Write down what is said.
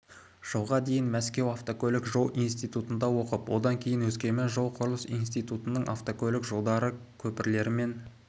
жылға дейін мәскеу автокөлік-жол институтында оқып одан кейін өскемен жол-құрылыс институтының автокөлік жолдары көпірлер мен